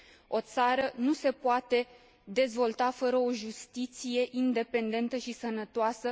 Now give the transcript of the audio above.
O țară nu se poate dezvolta fără o justiție independentă și sănătoasă!